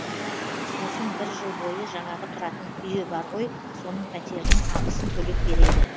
сосын бір жыл бойы жаңағы тұратын үйі бар ғой соның пәтерінің ақысын төлеп береді